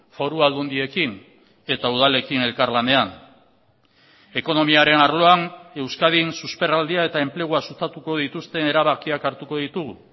foru aldundiekin eta udalekin elkarlanean ekonomiaren arloan euskadin susperraldia eta enplegua sustatuko dituzten erabakiak hartuko ditugu